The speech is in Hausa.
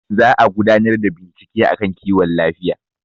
za a gudanar da bincike a kan kiwon lafiya